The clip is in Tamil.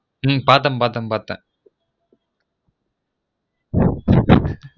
உம் பார்த்தன் பார்த்தன்